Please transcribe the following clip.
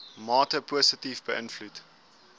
mate positief beïnvloed